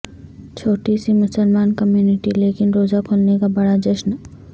چھوٹی سی مسلمان کمیونٹی لیکن روزہ کھولنے کا بڑا جشن